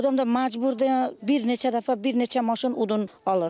Adam da məcburdur bir neçə dəfə, bir neçə maşın odun alır.